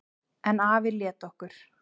En afi lét okkur